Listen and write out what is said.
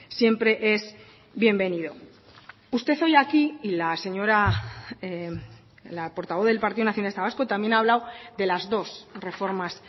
siempre es bienvenido usted hoy aquí y la señora la portavoz del partido nacionalista vasco también ha hablado de las dos reformas